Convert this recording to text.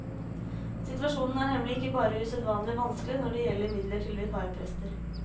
Situasjonen er nemlig ikke bare usedvanlig vanskelig når det gjelder midler til vikarprester.